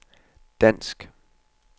dansk